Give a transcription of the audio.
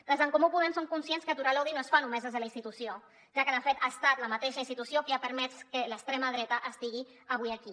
des d’en comú podem som conscients que aturar l’odi no es fa només des de la institució ja que de fet ha estat la mateixa institució qui ha permès que l’extrema dreta estigui avui aquí